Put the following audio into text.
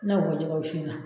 N'a o bɔ jɛgɛ wusu in na.